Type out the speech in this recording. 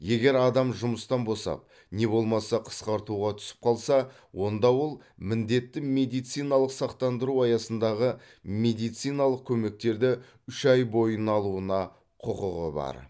егер адам жұмыстан босап не болмаса қысқартуға түсіп қалса онда ол міндетті медициналық сақтандыру аясындағы медициналық көмектерді үш ай бойына алуына құқығы бар